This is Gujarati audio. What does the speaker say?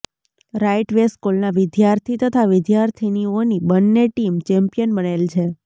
રાઈટ વે સ્કુલના વીદ્યાર્થી તથા વીદ્યાર્થીનીઓની બંને ટીમ ચેમ્પિયન બનેલ છે